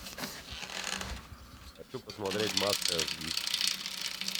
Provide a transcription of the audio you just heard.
хочу посмотреть маска аш ди